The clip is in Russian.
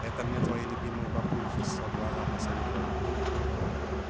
это мне твои любимые бабульки со двора посоветовали